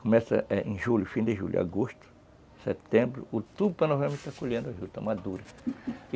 Começa, eh, em julho, fim de julho, agosto, setembro, outubro, para em novembro está colhendo a juta madura.